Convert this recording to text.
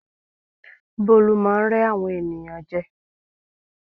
Bólú máá ń rẹ́ àwọn ènìyàn jẹ